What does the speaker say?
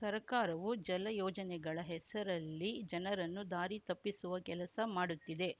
ಸರ್ಕಾರವು ಜಲ ಯೋಜನೆಗಳ ಹೆಸರಲ್ಲಿ ಜನರನ್ನು ದಾರಿ ತಪ್ಪಿಸುವ ಕೆಲಸ ಮಾಡುತ್ತಿದೆ